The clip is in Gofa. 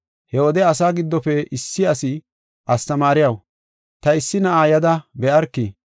He wode asaa giddofe issi asi, “Astamaariyaw, ta issi na7aa yada be7arki.